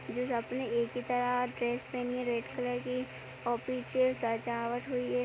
जो जो आपने एक ही तरह ड्रेस पहनी है रेड कलर की और पीछे सजावट हुई है।